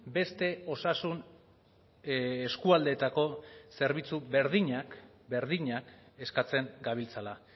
beste osasun eskualdeetako zerbitzu berdinak berdinak eskatzen gabiltzala